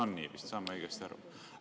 On nii vist, saan ma õigesti aru?